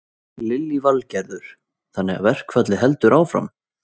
Lillý Valgerður: Þannig að verkfallið heldur áfram?